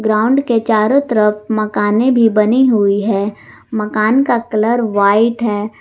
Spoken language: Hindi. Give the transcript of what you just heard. ग्राउंड के चारों तरफ मकाने भी बनी हुई है मकान का कलर व्हाइट है।